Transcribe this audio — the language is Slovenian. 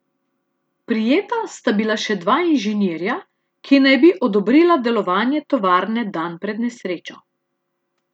Prijeta sta bila še dva inženirja, ki naj bi odobrila delovanje tovarne dan pred nesrečo.